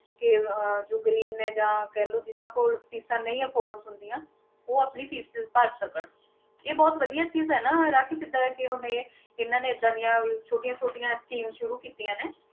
ਕਿ ਅਹ ਜੋ ਗ਼ਰੀਬ ਨੇ ਜਾਂ ਕਹਿ ਲਓ ਜਿੰਨਾਂ ਕੋਲ ਫ਼ੀਸਾਂ ਨਹੀਂ afford ਹੁੰਦੀਆਂ, ਉਹ ਆਪਣੀ fees ਭਰ ਸਕਣ, ਇਹ ਬਹੁਤ ਵਧੀਆ ਚੀਜ਼ ਹੈ ਨਾ ਰਾਖੀ ਜਿੱਦਾਂ ਕਿ ਹੁਣ ਇਹ ਇਹਨਾਂ ਨੇ ਏਦਾਂ ਦੀਆਂ ਛੋਟੀਆਂ ਛੋਟੀਆਂ scheme ਸ਼ੁਰੂ ਕੀਤੀਆਂ ਨੇ,